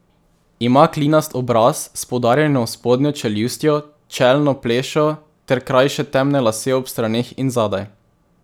Ima klinast obraz s poudarjeno spodnjo čeljustjo, čelno plešo ter krajše temne lase ob straneh in zadaj.